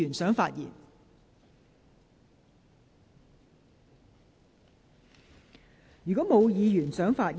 是否有議員想發言？